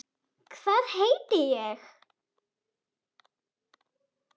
Hvað heiti ég?